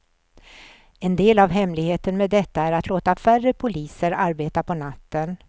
En del av hemligheten med detta är att låta färre poliser arbeta på natten.